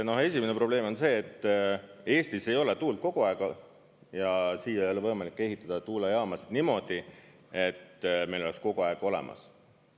No esimene probleem on see, et Eestis ei ole tuult kogu aeg ja siia ei ole võimalik ehitada tuumajaamasid niimoodi, et meil oleks kogu aeg olemas.